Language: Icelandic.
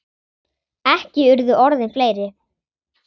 Ekki urðu orðin fleiri.